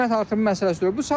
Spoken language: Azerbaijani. Bu qiymət artımı məsələsi deyil.